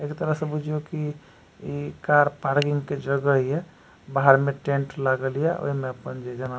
एक तरह से बुझियों की इ कार पार्किंग के जगह ये बाहर मे टेंट लागल ये ओय में अपन जे जेना --